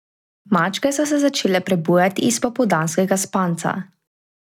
Mačke so se začele prebujati iz popoldanskega spanca.